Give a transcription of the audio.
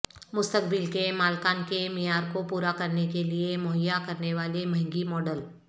مستقبل کے مالکان کے معیار کو پورا کرنے کے لئے مہیا کرنے والے مہنگی ماڈل